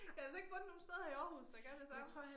Jeg har altså ikke fundet nogen steder i Aarhus der kan det samme